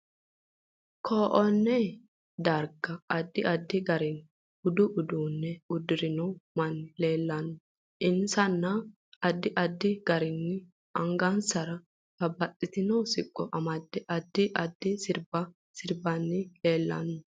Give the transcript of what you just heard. KOnne darga addi addi garinni budu uduune uddirinno manni leelanno insa addi addi garinni angasanni babbaxitino siqqo amade addi addi sirbba sirbanni leelanno